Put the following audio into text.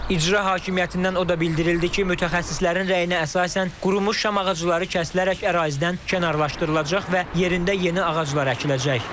İcra Hakimiyyətindən o da bildirildi ki, mütəxəssislərin rəyinə əsasən qurumuş şam ağacları kəsilərək ərazidən kənarlaşdırılacaq və yerində yeni ağaclar əkiləcək.